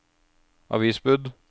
avisbud